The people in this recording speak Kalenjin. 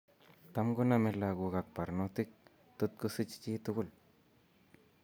Tam koname lagok ak barnotik totkosich chitugul